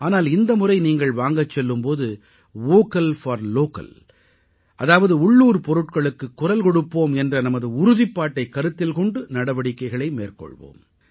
ஆனால் இந்த முறை நீங்கள் வாங்கச் செல்லும் போது வோக்கல் போர் லோக்கல் அதாவது உள்ளூர் பொருட்களுக்கு குரல் கொடுப்போம் என்ற நமது உறுதிப்பாட்டைக் கருத்தில் கொண்டு நடவடிக்கைகளை மேற்கொள்வோம்